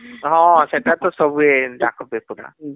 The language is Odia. ହଁ ସେଟା ତ ସବୁ ଏଁ ଡାକ